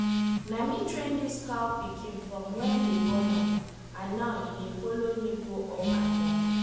na me train this cow pikin from wen dey born am and now e dey follow me go up and down